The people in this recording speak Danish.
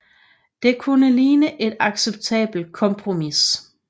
Det kunne ligne et acceptabelt kompromis